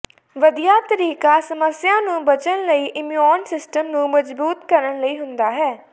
ਵਧੀਆ ਤਰੀਕਾ ਸਮੱਸਿਆ ਨੂੰ ਬਚਣ ਲਈ ਇਮਿਊਨ ਸਿਸਟਮ ਨੂੰ ਮਜ਼ਬੂਤ ਕਰਨ ਲਈ ਹੁੰਦਾ ਹੈ